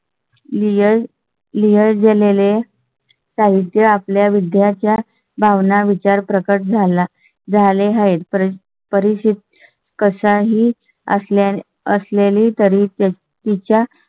लियल दिलेले आपल्या विद्या च्या भावना विचार प्रकट झाला झाले आहेत. परत परिषद कशाही असल्या असलेली तरी भरून.